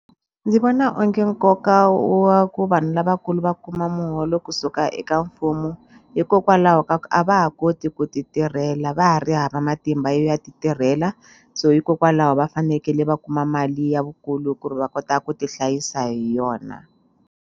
Ndzi vona onge nkoka wa ku vanhu lavakulu va kuma muholo kusuka eka mfumo hikokwalaho ka ku a va ha koti ku ti tirhela va ha ri hava matimba yo ya ti tirhela so hikokwalaho va fanekele va kuma mali ya vukulu ku ri va kota ku ti hlayisa hi yona.